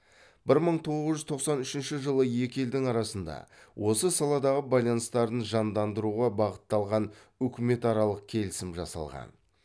бір мың тоғыз жүз тоқсан үшінші жылы екі елдің арасында осы саладағы байланыстарын жандандыруға бағытталған үкіметаралық келісім жасалған